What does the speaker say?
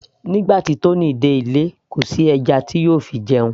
nígbà tí Tony dé ilé kò sí ẹja tí yóò fi jẹun